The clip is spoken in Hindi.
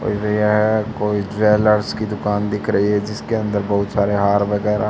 और यह कोई ज्वेलर्स की दुकान दिख रही है जिसके अंदर हार बहुत सारे वगैरह--